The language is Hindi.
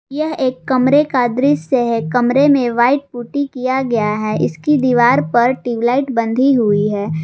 यह एक कमरे का दृश्य है कमरे में व्हाइट पुट्टी किया गया है इसकी दीवार पर ट्यूबलाइट बंधी हुई है।